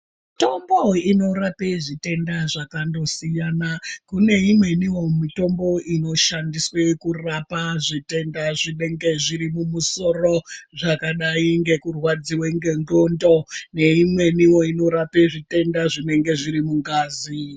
Mitombo inorape zvitenda zvakandosiyana kune imwenio mitombo inoshandiswa kurapa zvitenda zvinenge zviri mumusoro zvakadai ngekurwadziwa ngendxondo neimwenio inorape zvitenda zvinenge zviri mungazi.